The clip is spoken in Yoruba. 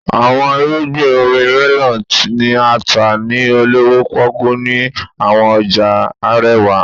Awọn irugbin omi melon ni a ta ni olowo poku ni awọn ọja arewa.